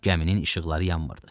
Gəminin işıqları yanmırdı.